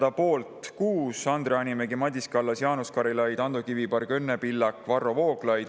Selle poolt oli 6: Andre Hanimägi, Madis Kallas, Jaanus Karilaid, Ando Kiviberg, Õnne Pillak ja Varro Vooglaid.